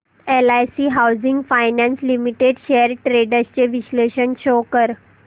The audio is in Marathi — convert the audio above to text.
LIC housing finance limited shares trends चे विश्लेषण शो कर